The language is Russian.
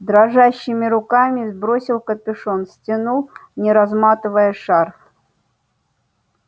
дрожащими руками сбросил капюшон стянул не разматывая шарф